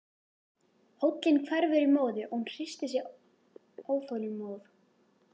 Hóllinn hverfur í móðu og hún hristir sig óþolinmóð.